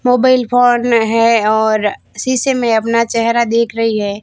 Mobile phone है और शीशे में अपना चेहरा देख रही है।